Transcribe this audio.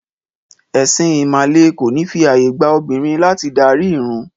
Ẹ̀sìn ìmàle kò ní fi ààyè gba obìnrin láti darí ìrun.